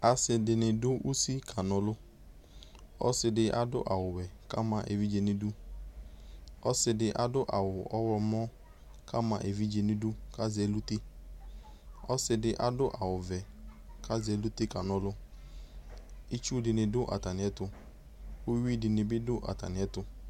asɩɖɩnɩ ɖʊ ʊsɩ ƙanɔlʊ ɔsɩɖɩ aɖʊ awu wɔɛ ƙama ɛʋɩɖjɛnʊɩɖʊ ɔsɩɖɩ aɖʊ awʊ ɔwlɔmɔ ƙama ɛʋɩɖjɛnɩmʊɩɖʊ ƙʊlasɛ ɛlʊtɛ ɔsɩɖɩ aɖʊ awʊʋɛ ƙasɛ ɛlʊtɛ kanɔlʊ ɩtsʊɖɩnɩdʊ atamɩɛtʊ ʊwuɩ ɖɩnɩbɩ ɖʊatamɩɛtʊ